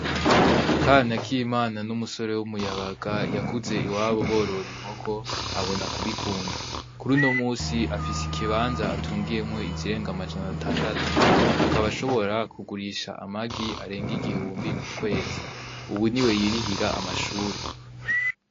Kanakimana n'umusore w'umuyabaga yakuze iwabo boror'inkoko abona kubikunda, kuruno munsi afis'ikabanza atungiyemwo izirenga amajana atandatu ,akaba ashobora kugurisha amagi areng'igihumbi kukwezi ,ubu niwe yirihira amashuri.